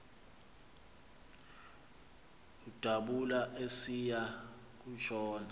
udabula esiya kutshona